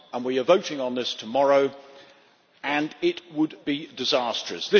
We are voting on this tomorrow and it would be disastrous.